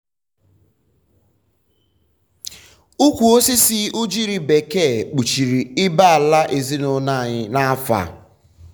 ukwu osisi ugiri bekee kpuchiri ibé-ala ezinụlọ anyị n'afọ a.